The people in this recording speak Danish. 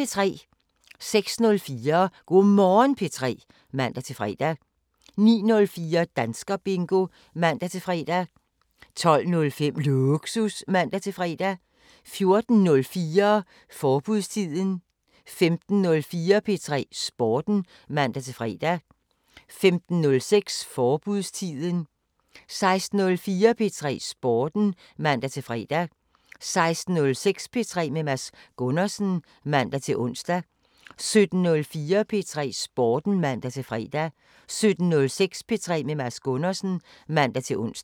06:04: Go' Morgen P3 (man-fre) 09:04: Danskerbingo (man-fre) 12:05: Lågsus (man-fre) 14:04: Forbudstiden 15:04: P3 Sporten (man-fre) 15:06: Forbudstiden 16:04: P3 Sporten (man-fre) 16:06: P3 med Mads Gundersen (man-ons) 17:04: P3 Sporten (man-fre) 17:06: P3 med Mads Gundersen (man-ons)